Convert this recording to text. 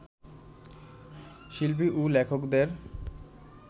শিল্পী ও লেখকদের